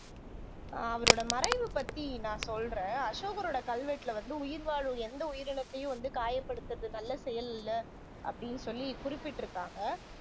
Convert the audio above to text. ஆஹ் அவரோட மறைவு பத்தி நான் சொல்றேன் அசோகரோட கல்வெட்டுல வந்து உயிர்வாழும் எந்த உயிரினத்தையும் வந்து காயப்படுத்துவது நல்ல செயல் இல்ல அப்படின்னு சொல்லி குறிப்பிட்டு இருக்காங்க